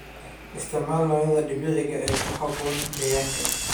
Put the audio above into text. Isticmaalka noocyada dabiiciga ah ee ku habboon deegaanka.